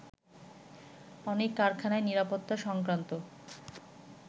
অনেক কারখানাই নিরাপত্তা সংক্রান্ত